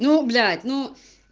ну блять ну